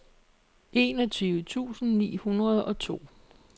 enogtyve tusind ni hundrede og to